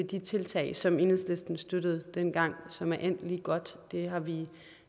de tiltag som enhedslisten støttede dengang som er endt lige godt det har vi